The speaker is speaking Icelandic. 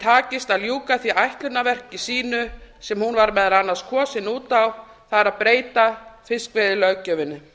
takist að ljúka því ætlunarverki sínu sem hún var meðal annars kosin út á það er að breyta fiskveiðilöggjöfinni